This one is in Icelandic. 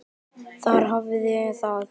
Þar hafiði það.